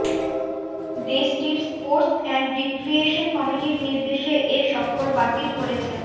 দেশটির sports and recreation কমিটির নির্দেশে এ সফর বাতিল করেছে